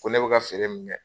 Ko ne bɛ ka feere min kɛ